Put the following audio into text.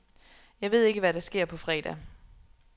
Jeg ved ikke, hvad der sker på fredag.